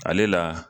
Ale la